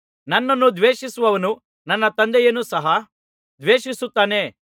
ನನ್ನನ್ನು ದ್ವೇಷಿಸುವವನು ನನ್ನ ತಂದೆಯನ್ನು ಸಹ ದ್ವೇಷಿಸುತ್ತಾನೆ